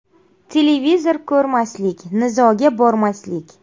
Televizor ko‘rmaslik, nizoga bormaslik.